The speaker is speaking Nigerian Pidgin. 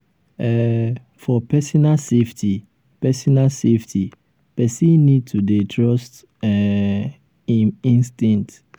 um for personal safety personal safety person need to dey trust um im instinct